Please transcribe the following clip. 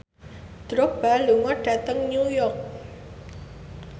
Drogba lunga dhateng New York